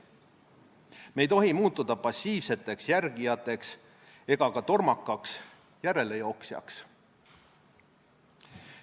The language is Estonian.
Me ei tohi muutuda passiivseks järgijaks ega ka tormakaks järelejooksjaks.